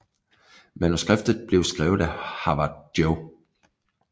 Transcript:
Manuskriptet blev skrevet af Howard J